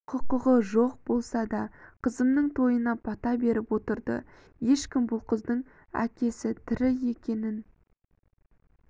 құқығы жоқ болса да қызымның тойына бата беріп отырды ешкім бұл қыздың әкесі тірі екенін